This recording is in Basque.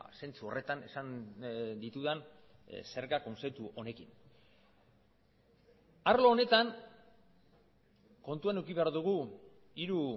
zentzu horretan esan ditudan zerga kontzeptu honekin arlo honetan kontuan eduki behar dugu hiru